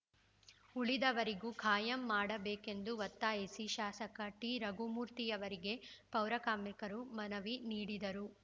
ಉಳಿದವರಿಗೂ ಕಾಯಂ ಮಾಡಬೇಕೆಂದು ಒತ್ತಾಯಿಸಿ ಶಾಸಕ ಟಿರಘುಮೂರ್ತಿಯವರಿಗೆ ಪೌರಕಾರ್ಮಿಕರು ಮನವಿ ನೀಡಿದರು